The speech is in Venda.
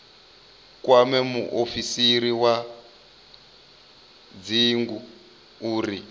kwame muofisiri wa dzingu uri